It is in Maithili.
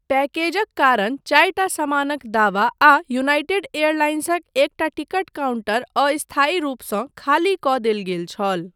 पैकेजक कारण, चारिटा समानक दावा आ यूनाइटेड एयरलाइंसक एकटा टिकट काउंटर अस्थायी रूपसँ खाली कऽ देल गेल छल।